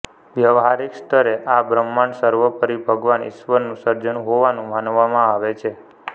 વ્યવહારિક સ્તરે આ બ્રહ્માંડ સર્વોપરી ભગવાન ઇશ્વરનું સર્જન હોવાનું માનવામાં આવે છે